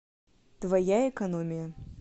твоя экономия